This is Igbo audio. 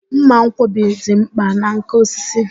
Mma nkwọbi dị mkpa na nkà osisi.